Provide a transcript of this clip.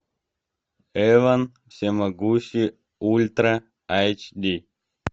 эван всемогущий ультра эйч ди